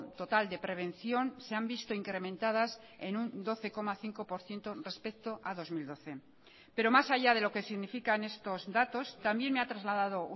total de prevención se han visto incrementadas en un doce coma cinco por ciento respecto a dos mil doce pero más allá de lo que significan estos datos también me ha trasladado